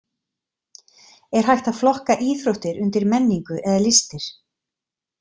Er hægt að flokka íþróttir undir menningu eða listir?